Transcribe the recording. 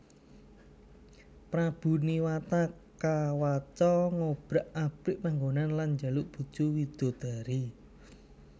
Prabu Niwata Kawaca ngobrak abrik panggonan lan njaluk bojo widodari